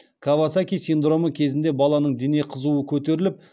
кавасаки синдромы кезінде баланың дене қызуы көтеріліп